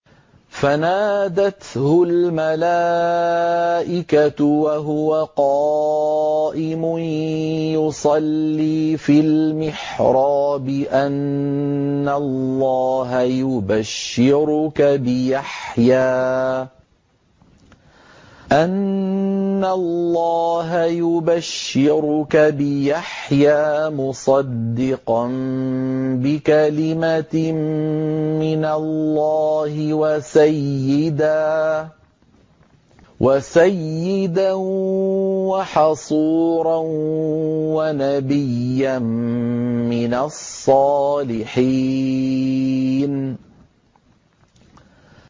فَنَادَتْهُ الْمَلَائِكَةُ وَهُوَ قَائِمٌ يُصَلِّي فِي الْمِحْرَابِ أَنَّ اللَّهَ يُبَشِّرُكَ بِيَحْيَىٰ مُصَدِّقًا بِكَلِمَةٍ مِّنَ اللَّهِ وَسَيِّدًا وَحَصُورًا وَنَبِيًّا مِّنَ الصَّالِحِينَ